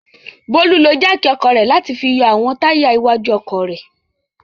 Bólú ló jáákì ọkọ̀ rẹ̀ láti fi yọ àwọn táyà iwájú ọkọ̀ rẹ̀.